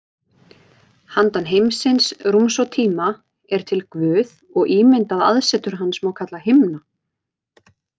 Handan heimsins, rúms og tíma, er til Guð og ímyndað aðsetur hans má kalla himna.